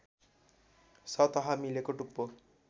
सतह मिलेको टुप्पो